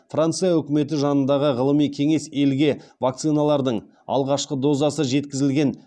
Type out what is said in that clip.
франция үкіметі жанындағы ғылыми кеңес елге вакциналардың алғашқы дозасы жеткізілген